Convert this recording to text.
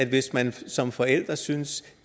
hvis man som forældre synes